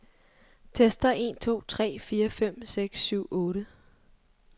Tester en to tre fire fem seks syv otte.